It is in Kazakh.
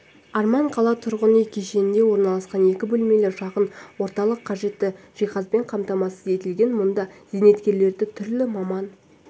арман қала тұрғын-үй кешенінде орналасқан екі бөлмелі шағын орталық қажетті жиһазбен қамтамасыз етілген мұнда зейнеткерлерді түрлі маман